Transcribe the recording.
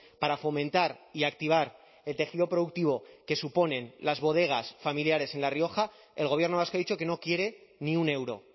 para fomentar y activar el tejido productivo que suponen las bodegas familiares en la rioja el gobierno vasco ha dicho que no quiere ni un euro